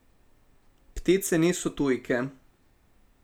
Ptice niso tujke.